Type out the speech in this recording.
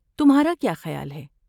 تمہارا کیا خیال ہے؟